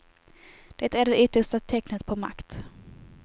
Det är det yttersta tecknet på makt.